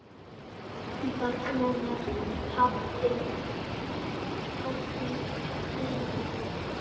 Barnanna hátíð blíð.